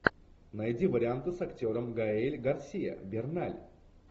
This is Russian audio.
найди варианты с актером гаэль гарсиа берналь